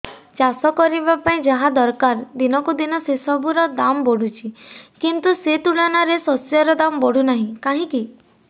ଚାଷ କରିବା ପାଇଁ ଯାହା ଦରକାର ଦିନକୁ ଦିନ ସେସବୁ ର ଦାମ୍ ବଢୁଛି କିନ୍ତୁ ସେ ତୁଳନାରେ ଶସ୍ୟର ଦାମ୍ ବଢୁନାହିଁ କାହିଁକି